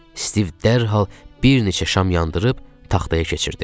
Stiv dərhal bir neçə şam yandırıb taxtaya keçirdi.